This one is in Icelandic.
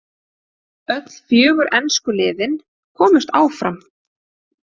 Öll fjögur ensku liðin komust áfram.